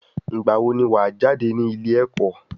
Ìgbà wo ni wa jáde nílé ẹ̀kọ́?